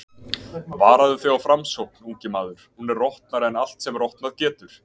Varaðu þig á Framsókn, ungi maður, hún er rotnari en allt sem rotnað getur.